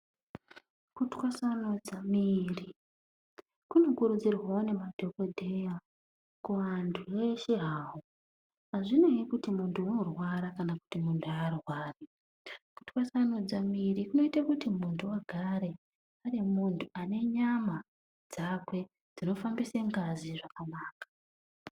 Kutwasanura muiri kunokurudzirwa ngemadhokoteya kuantu wese hawo azvinei kuti muntu unorwara kana kuti arwari. Kutwasanudza muiiri kunoita kuti muntu agare ari muntu anenyama dzakwe dznofambisa ngazi zvakanaka